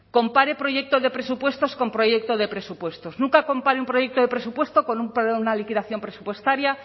compare proyecto de presupuestos con proyecto de presupuestos nunca compare un proyecto de presupuesto con una liquidación presupuestaria